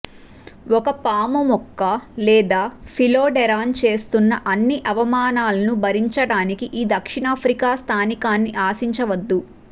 ఒక పాము మొక్క లేదా ఫిలోడెరాన్ చేస్తున్న అన్ని అవమానాలనూ భరించడానికి ఈ దక్షిణాఫ్రికా స్థానికాన్ని ఆశించవద్దు